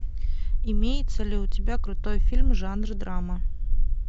имеется ли у тебя крутой фильм жанра драма